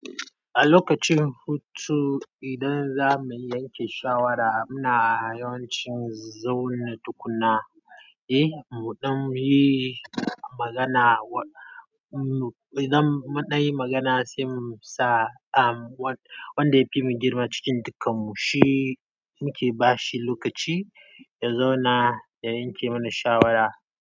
A lokacin hutu idan za mu yanke shawara muna yawancin zaune tukuna. Eh, mu ɗan yi magana. Idan munɗan yi magana sai mu sa wanda yafimu girma cikin dukkan mu shi muke bashi lokaci ya zauna ya yanke mana shawara.